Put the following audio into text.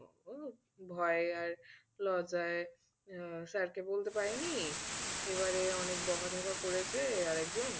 ভয়ে আর লজ্জায় আহ sir কে বলতে পারেনি এবারে অনেক বোকা ঝোকা করেছে আর একজন তো